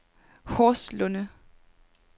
Horslunde